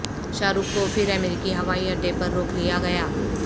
شاہ رخ کو پھر امریکی ہوائی اڈے پر روک لیاگیا